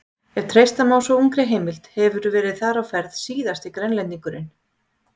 Ef treysta má svo ungri heimild hefur þar verið á ferð síðasti Grænlendingurinn.